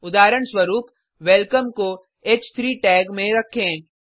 उदाहरण स्वरुप वेलकम को ह3 टैग में रखें